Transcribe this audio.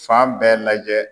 Fan bɛɛ lajɛ